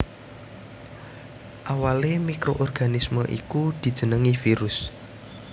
Awalé mikroorganisme iku dijenengi virus